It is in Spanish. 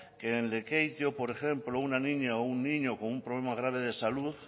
que en lekeitio por ejemplo una niña o un niño con un problema grave de salud